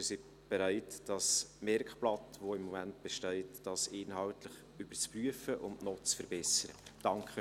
Wir sind bereit, das Merkblatt, das im Moment besteht, inhaltlich zu überprüfen und noch zu verbessern.